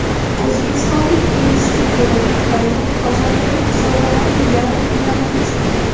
O‘zbekistonlik tennischi Jo‘rabek Karimov Qozondagi musobaqaning yarim finaliga chiqdi.